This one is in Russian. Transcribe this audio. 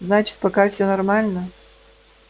значит пока все нормально